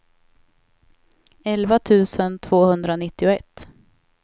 elva tusen tvåhundranittioett